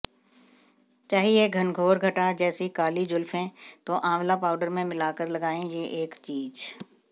चाहिए घनघोर घटा जैसी काली जुल्फें तो आंवला पाउडर में मिलाकर लगाएं ये एक चीज